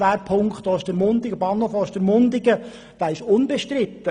Der ESP Bahnhof Ostermundigen ist unbestritten.